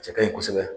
Cɛ kaɲi kosɛbɛ